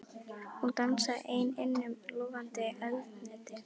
Hún dansaði ein innan um logandi eldhnetti.